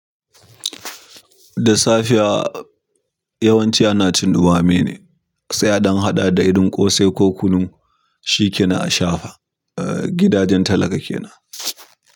Da safiya yawanci ana cin ɗame ne, sai a ɗan haɗa da ƙosai ko kunnu. Shikenan a shafa gidajen talaka kenan.